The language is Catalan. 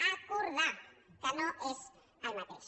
acordar que no és el mateix